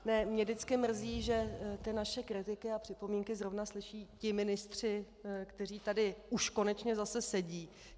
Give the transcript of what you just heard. Mě vždycky mrzí, že ty naše kritiky a připomínky zrovna slyší ti ministři, kteří tady už konečně zase sedí.